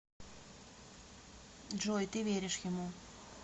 джой ты веришь ему